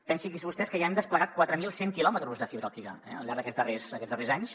pensin vostès que ja hem desplegat quatre mil cent quilòmetres de fibra òptica al llarg d’aquests darrers anys